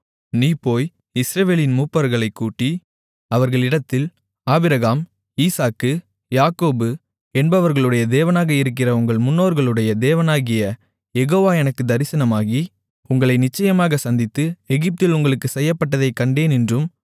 நீ போய் இஸ்ரவேலின் மூப்பர்களைக்கூட்டி அவர்களிடத்தில் ஆபிரகாம் ஈசாக்கு யாக்கோபு என்பவர்களுடைய தேவனாக இருக்கிற உங்கள் முன்னோர்களுடைய தேவனாகிய யெகோவா எனக்கு தரிசனமாகி உங்களை நிச்சயமாக சந்தித்து எகிப்தில் உங்களுக்குச் செய்யப்பட்டதைக் கண்டேன் என்றும்